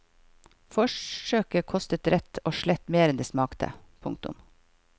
Forsøket kostet rett og slett mer enn det smakte. punktum